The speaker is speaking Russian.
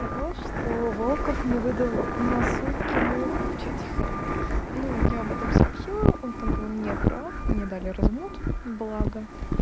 то что волков не выдал на сутки мут в чате хэлперов ну я об этом сообщил он там был неправ мне дали развод блага